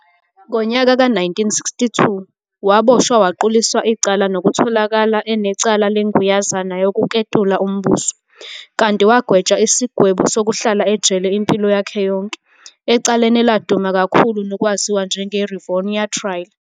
Ngonyaka ka 1962, waboshwa waquliswa icala nokutholakala enecala lenguyazana yokuketula umbuso, kanti wagwetshwa isigwebo sokuhlala ejele impilo yakhe yonke, ecaleni eladuma kakhulu nokwaziwa njenge-Rivonia Trial.